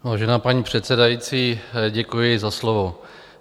Vážená paní předsedající, děkuji za slovo.